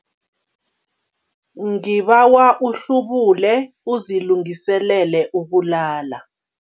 Ngibawa uhlubule uzilungiselele ukulala.